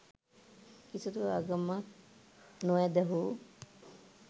කිසිදු ආගමක් නො ඇදහුු